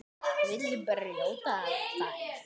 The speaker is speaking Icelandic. Vill brjóta þær.